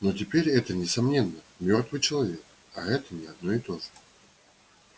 но теперь это несомненно мёртвый человек а это не одно и то же